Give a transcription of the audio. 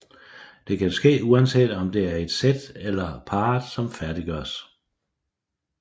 Det kan ske uanset om det er et sæt eller parret som færdiggøres